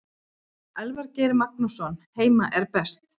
Elvar Geir Magnússon Heima er best.